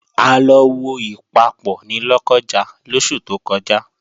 A lọ wo Ìpapọ̀ ní Lọ́kọ́ja lóṣù tó kọjá